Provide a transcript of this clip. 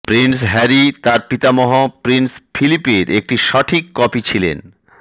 Prince Harry তার পিতামহ prince ফিলিপের একটি সঠিক কপি ছিলেন